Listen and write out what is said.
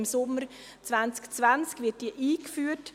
Im Sommer 2020 wird diese eingeführt.